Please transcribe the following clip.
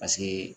Paseke